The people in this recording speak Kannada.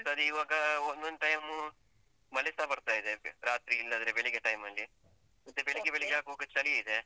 ಮತ್ತ್ ಇವಾಗ ಒಂದೊಂದ್ time ಊ ಮಳೆಸ ಬರ್ತಾ ಇದೆ ರಾತ್ರಿ ಇಲ್ಲಾದ್ರೆ ಬೆಳಿಗ್ಗೆ time ಅಲ್ಲಿ. ಚಳಿ ಇದೆ.